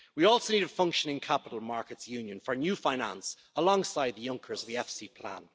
We also need a functioning capital markets union for new finance, alongside Juncker's the EFSI plan.